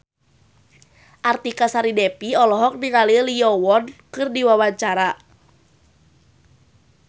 Artika Sari Devi olohok ningali Lee Yo Won keur diwawancara